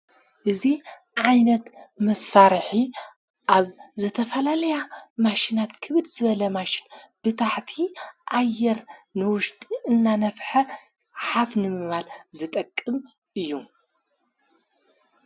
እዙ ዓይነት መሳርኂ ኣብ ዘተፈላለያ ማሽናት ክብድ ዝበለ ማሽን ብታሕቲ ኣየር ንውሽጢ እናነፍሐ ሃፍ ንምባል ዘጠቅም እዩ።